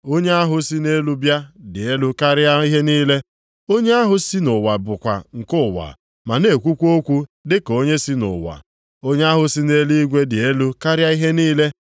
“Onye ahụ si nʼelu bịa dị elu karịa ihe niile, onye ahụ si nʼụwa bụkwa nke ụwa ma na-ekwukwa okwu dị ka onye si nʼụwa. Onye ahụ si nʼeluigwe dị elu karịa ihe niile.